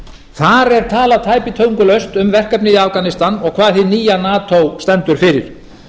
þar er talað tæpitungulaust um verkefnið í afganistan og hvað hið nýja nato stendur fyrir